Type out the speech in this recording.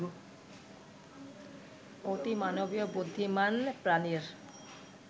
অতিমানবীয় বুদ্ধিমান প্রানীর